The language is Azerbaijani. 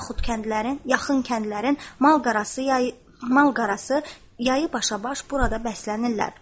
Yaxud kəndlərin, yaxın kəndlərin mal-qarası, mal-qarası yayı başabaş burada bəslənirlər.